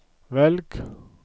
velg